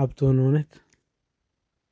ab tononet